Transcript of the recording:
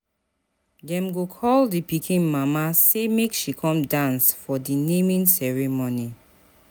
Dem go call di pikin mama sey make she come dance for di naming ceremony.